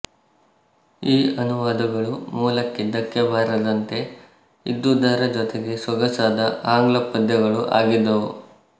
ಈ ಅನುವಾದಗಳು ಮೂಲಕ್ಕೆ ಧಕ್ಕೆ ಬಾರದಂತೆ ಇದ್ದುದರ ಜೊತೆಗೆ ಸೊಗಸಾದ ಆಂಗ್ಲ ಪದ್ಯಗಳೂ ಆಗಿದ್ದವು